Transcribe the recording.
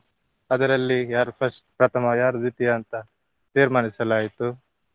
ಅದರಲ್ಲಿ ಯಾರು first ಪ್ರಥಮ, ಯಾರು ದ್ವಿತೀಯ ಅಂತ ತೀರ್ಮಾನಿಸಲಾಯಿತು.